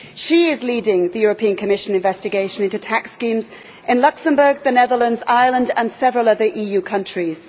She is leading the Commission investigation into tax schemes in Luxembourg, the Netherlands, Ireland and several other EU countries.